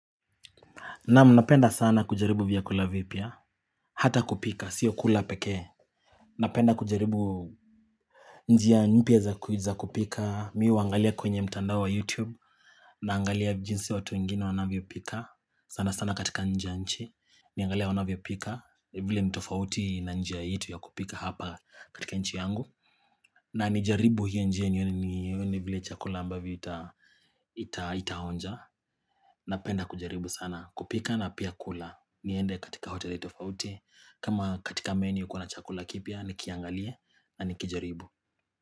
Naam, napenda sana kujaribu vyakula vipya Hata kupika sio kula pekee Napenda kujaribu njia mpya za kupika. Mimi huangalia kwenye mtandao wa youtube, naangalia jinsi watu wengine wanavyopika sana sana katika nje nchi Niangalie wanavyopika vile ni tofauti na njia yetu ya kupika hapa katika nchi yangu. Na nijaribu hiyo njia nione vile chakula ambavyo itaonja. Napenda kujaribu sana kupika na pia kula. Niende katika hoteli tofauti, kama katika menu kuna chakula kipya, nikiangalie na nikijaribu.